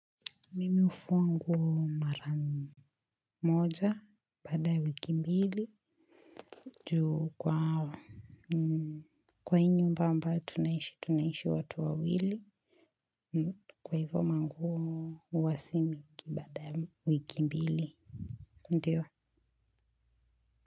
Mimi ufuwa nguo mara moja baada ya wiki mbili juu kwa hii nyumba ambayo tunaishi tunaishi watu wawili kwa hivo manguo huwa si mingi baada ya wiki mbili ndio?